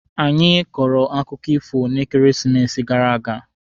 Anyị kọrọ akụkọ ifo n'ekeresimesi gara aga.